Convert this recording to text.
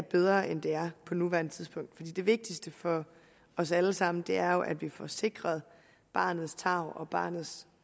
bedre end det er på nuværende tidspunkt det vigtigste for os alle sammen er jo at vi får sikret barnets tarv og barnets